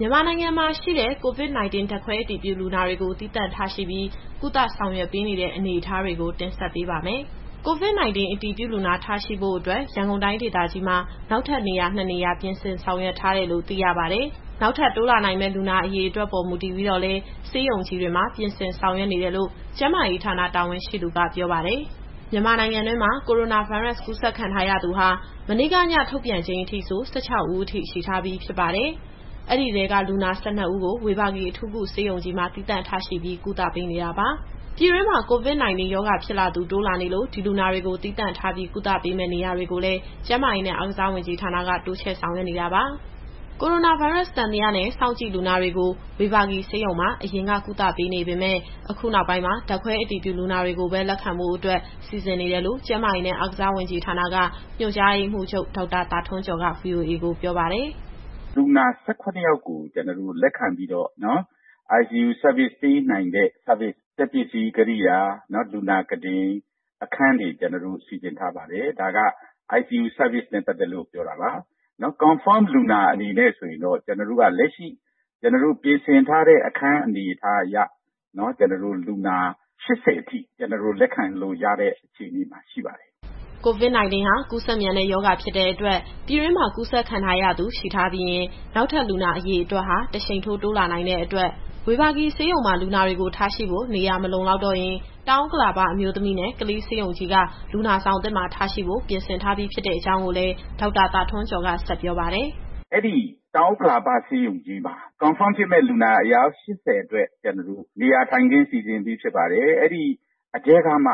မြန်မာနိုင်ငံမှာရှိတဲ့ COVID-19 ဓာတ်ခွဲအတည်ပြုလူနာတွေကို သီးသန့်ထားရှိပြီး ကုသ ဆောင်ရွက်ပေးနေတဲ့အနေအထားကို တင်ဆက်ပေးပါမယ်။ COVID-19 အတည်ပြုလူနာတွေ ထားရှိဖို့ ရန်ကုန်တိုင်းဒေသကြီးမှာ နောက်ထပ် နေရာနှစ်နေရာ ပြင်ဆင်ဆောင်ရွက်ထားတယ်လို့ သိရပါတယ်။ နောက်ထပ်တိုးလာနိုင်မယ့် လူနာအရေအတွက်ပေါ် မူတည်ပြီးတော့လည်း ဆေးရုံကြီးတွေမှာ ပြင်ဆင်ဆောင်ရွက်နေတယ်လို့ ကျန်းမာရေးဌာနတာဝန်ရှိသူက ပြောပါတယ်။ မြန်မာနိုင်ငံတွင်းမှာ ကိုရိုနာဗိုင်းရပ်စ် ကူးစက်ခံထားရသူဟာ မနေ့က ညထုတ်ပြန်ချိန်အထိဆို ၁၆ ဦးအထိ ရှိထားပါပြီ။ အဲဒီထဲက လူနာ ၁၂ ဦးကို ဝေဘာဂီအထူးကုဆေးရုံကြီးမှာ သီးသန့်ထားရှိပြီး ကုသပေးနေတာပါ။ ပြည်တွင်းမှာ COVID-19 ရောဂါဖြစ်လာသူ တိုးလာနေလို့ ဒီလူနာတွေကို သီးသန့်ထားပြီး ကုသပေးမယ့် နေရာတွေကိုလည်း ကျန်းမာရေးနဲ့ အားကစားဝန်ကြီးဌာနက တိုးချဲ့ဆောင်ရွက်နေတာပါ။ ကိုရိုနာဗိုင်းရပ်စ် သံသယနဲ့ စောင့်ကြည့်လူနာတွေကို ဝေဘာဂီဆေးရုံမှာ အရင်က ကုသပေးနေပေမယ့် အခုနောက်ပိုင်းမှာ ဓာတ်ခွဲအတည်ပြုလူနာတွေကိုပဲ လက်ခံဖို့အတွက် စီစဉ်နေတယ်လို့ ကျန်းမာရေးနဲ့ အားကစားဝန်ကြီးဌာနက ညွှန်ကြားရေးမှူးချုပ် ဒေါက်တာသာထွန်းကျော်က ဗွီအိုအေကိုပြောပါတယ်။ “လူနာ ၁၇ ယောက်ကို လက်ခံပြီးတော့ ICU Service ပေးနိုင်တဲ့ စက်ပစ္စည်းကိရိယာ၊ လူနာကုတင်၊ အခန်းတွေကို ကျနော်တို့ စီစဉ်ထားပါတယ်။ ဓာတ်ခွဲအတည်ပြုလူနာ အနေနဲ့ ဆိုရင်တော့ လက်ရှိပြင်ဆင်ထားတဲ့ အခန်းအနေအထားအရ လူနာ ၈၀ အထိ လက်ခံလို့ရတဲ့ အခြေအနေမှာ ရှိပါတယ်။” “အဲဒီတောင်ဥက္ကလာပဆေးရုံကြီးမှာ အတည်ပြုလူနာ အယောက် ၈၀ အတွက် နေရာထိုင်ခင်းစီစဉ်ပြီး ဖြစ်ပါတယ်။ အဲဒီထဲကမှ